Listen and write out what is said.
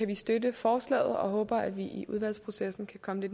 vi støtte forslaget og vi håber at vi i udvalgsprocessen kan komme